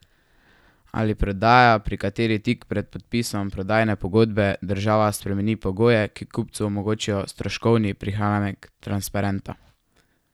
Ali je prodaja, pri kateri tik pred podpisom prodajne pogodbe država spremeni pogoje, ki kupcu omogočijo stroškovni prihranek, transparentna?